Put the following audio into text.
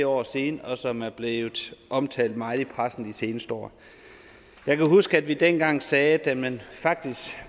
år siden og som er blevet omtalt meget i pressen de seneste år jeg kan huske at vi dengang sagde at da man faktisk